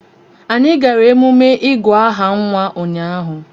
Anyị gara emume ịgụ aha nwa ụnyahụ